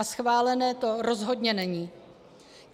A schválené to rozhodně není.